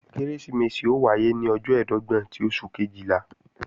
Kérésìmesì ó wáyé ní ọjọ́ ẹ̀ẹ́dọ́gbọ̀n ti oṣù Kejìlá